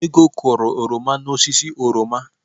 Ego kụrụ oroma n'osisi oroma.